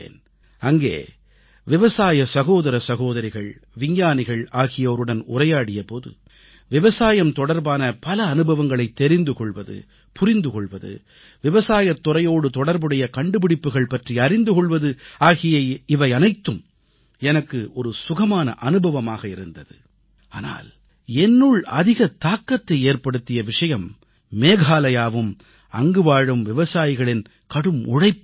அங்கே விவசாய சகோதர சகோதரிகள் விஞ்ஞானிகள் ஆகியோருடன் உரையாடிய போது விவசாயம் தொடர்பான பல அனுபவங்களைத் தெரிந்து கொள்வது புரிந்து கொள்வது விவசாயத் துறையோடு தொடர்புடைய கண்டுபிடிப்புக்கள் பற்றி அறிந்து கொள்வது ஆகிய இவையனைத்தும் எனக்கு சுகமான அனுபவமாக இருந்தது ஆனால் என்னுள் அதிக தாக்கத்தை ஏற்படுத்திய விஷயம் மேகாலயாவும் அங்குவாழும் விவசாயிகளின் கடும் உழைப்பும்தான்